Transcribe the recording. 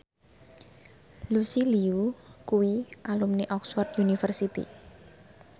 Lucy Liu kuwi alumni Oxford university